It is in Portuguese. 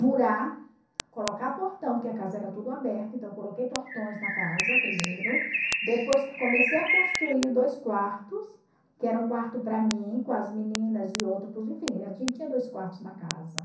murar, colocar portão, porque a casa era tudo aberta, então eu coloquei portões na casa primeiro, depois comecei a construir dois quartos, que era um quarto para mim, com as meninas e outro para os, enfim, a gente tinha dois quartos na casa.